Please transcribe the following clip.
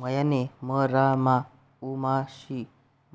मयाने म रा मा उ मा शि